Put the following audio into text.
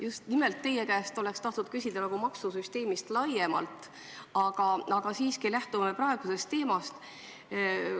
Just nimelt teie käest oleks tahtnud küsida maksusüsteemi kohta laiemalt, aga lähtun siiski praegusest teemast.